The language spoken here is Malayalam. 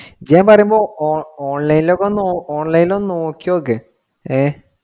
ഇയ്യാൻ വരുമ്പോ online ഇൽ ഒക്കെ ഒന്ന് online ഇൽ ഒന്ന് നോക്കി നോക്ക്. ഹേ